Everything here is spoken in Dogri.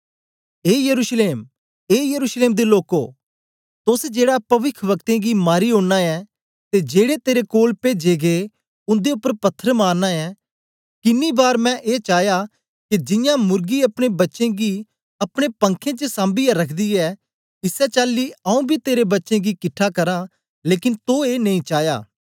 ए यरूशलेम ए यरूशलेम दे लोकों तोस जेड़ा पविखवक्तें गी मारी ओड़ना ऐं ते जेड़े तेरे कोल पेजे गै उन्दे उपर पत्थर मारना ऐं किनी बार मैं ए चाया के जियां मुर्गी अपने बच्चें गी अपने पंखें च साम्बीयै रखदी ऐ इसै चाली आऊँ बी तेरे बच्चें गी किट्ठा करां लेकन तो ए नेई चाया